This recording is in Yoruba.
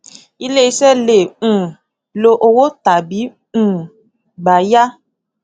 iléiṣẹ lè um lo owó tàbí um gbà yá